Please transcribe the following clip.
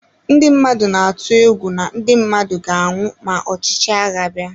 Ndị mmadụ na-atụ egwu na ndị mmadụ ga-anwụ ma ọchịchị agha abịa.